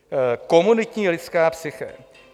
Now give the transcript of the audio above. Komunitní lidská psyché.